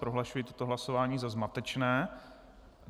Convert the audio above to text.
Prohlašuji toto hlasování za zmatečné.